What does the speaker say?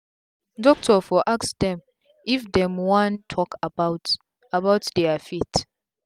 doctor for ask dem if dem wan talk about about dia faith